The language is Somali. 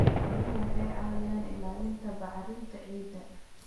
Xooluhu waxay caawiyaan ilaalinta bacrinta ciidda.